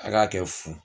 A k'a kɛ fu